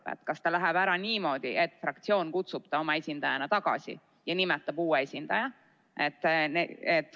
Võib olla nii, et ta läheb ära niimoodi, et fraktsioon kutsub ta oma esindaja kohalt tagasi ja nimetab uue esindaja.